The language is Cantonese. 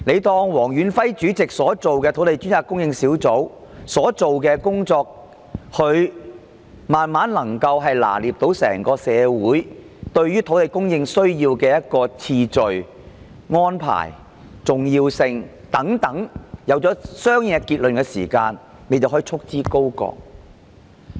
當黃遠輝主席負責的土地供應專責小組慢慢能夠掌握整個社會對於土地供應的優先次序、安排和重要性等意見時，政府是否把專責小組束之高閣？